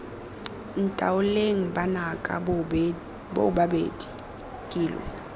ntaoleng banaka boobabedi ke lo